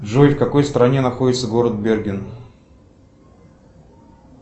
джой в какой стране находится город берген